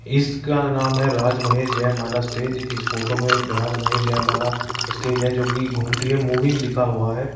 इसका नाम है राज महेश जय माला स्टेज । इस फ़ोटो में एक राज महेश जय माला स्टेज है जो कि घूमती है मूविंग लिखा हुआ है और --